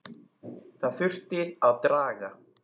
Það þurfti að draga